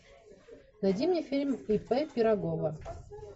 найди мне фильм ип пирогова